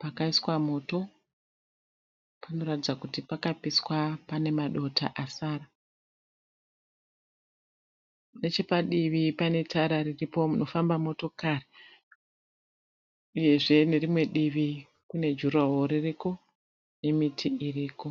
Pakaiswa moto, panoratidza kuti pakapiswa pane madota asara. Nechepadivi pane tara riripo rinofamba motokari, uyezve nerimwe divi kunejurahoro ririko nemiti iriko.